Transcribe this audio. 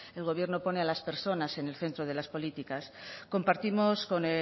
el gobierno pone a las personas en el centro de las políticas compartimos con